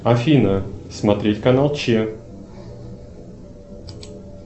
афина смотреть канал че